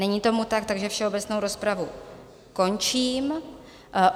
Není tomu tak, takže všeobecnou rozpravu končím.